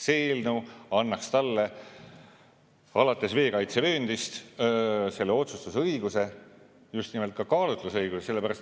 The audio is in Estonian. See eelnõu annaks talle alates veekaitsevööndist selle otsustusõiguse, just nimelt ka kaalutlusõiguse.